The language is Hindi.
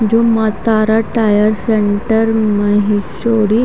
जो मत्तार टायर सेंटर --